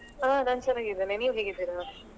ಹಾ ನಾನ್ ಚನ್ನಗಿದ್ದೇನೆ ನೀವ್ ಹೇಗಿದ್ದೀರಾ?